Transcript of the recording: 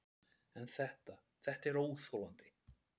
En þetta, þetta er óþolandi.